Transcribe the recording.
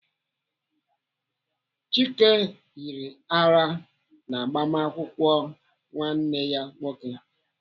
Chike yiri ara n'agbamakwụkwọ nwanne ya nwoke.